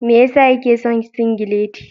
Me ya sa yake son singileti.